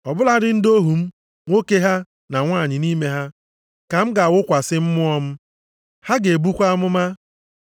Ọ bụladị ndị ohu m, nwoke ha na nwanyị nʼime ha, ka m ga-awụkwasị Mmụọ m. Ha ga-ebukwa amụma.